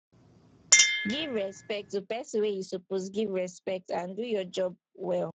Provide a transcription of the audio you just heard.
give respect to person wey you suppose give respect and do your job well